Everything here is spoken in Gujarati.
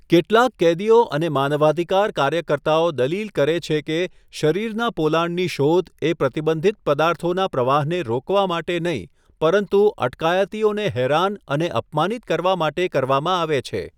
કેટલાક કેદીઓ અને માનવાધિકાર કાર્યકર્તાઓ દલીલ કરે છે કે શરીરના પોલાણની શોધ એ પ્રતિબંધિત પદાર્થોના પ્રવાહને રોકવા માટે નહીં પરંતુ અટકાયતીઓને હેરાન અને અપમાનિત કરવા માટે કરવામાં આવે છે.